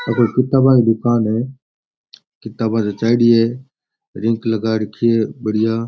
Copy किताबा की दूकान है किताबा जच्चायडी है रिंक लगा राखी है बढ़िया।